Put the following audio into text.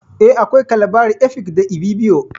Eh, akwai Kalabari, Efik, da Ibibio